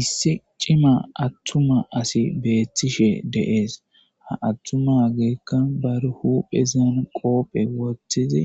Issi cima aththuma asi beeththishe de7ees; ha aththumaageekka bar huphezan qoophe wothizi